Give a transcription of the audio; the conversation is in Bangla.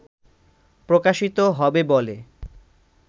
প্রকাশিত হবে বলে